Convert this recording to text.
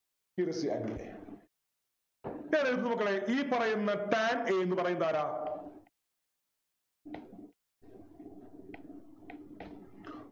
Here is the angle A മക്കളെ ഈ പറയുന്ന tan A ന്നു പറയുന്നതാരാ